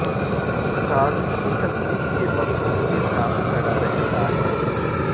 साथ ही तकलीफ के वक़्त उसके साथ खड़ा रहता है